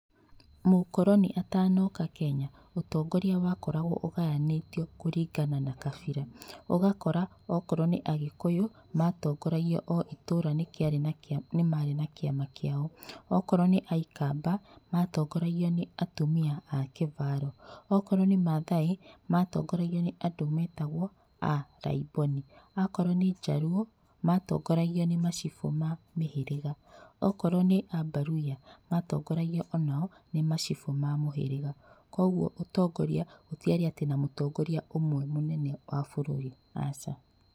Mũkoroni atanoka Kenya ũtongoria wakoragwo ũgayanĩtio kũringana na kabira. Ũgakora akorwo nĩ agĩkuyu matongoragio o itũra nĩ marĩ na kĩama kĩao, okorwo nĩ aikamba matongoragio nĩ atumia a kĩvaro, akorwo nĩ maathai matongoragio nĩ atongoria nĩ andũ metagwo a laiboni, okorwo nĩ jaruo matongoragio nĩ macibũ ma mĩhĩrĩga akorwo nĩ abaruhia matongoragio onao nĩ macibũ ma mũhĩrĩga. Koguo ũtongoria gũtiarĩ atĩ na mũtongoria ũmwe mũnene wa bũrũri, aca.